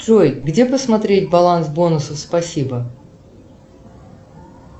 джой где посмотреть баланс бонусов спасибо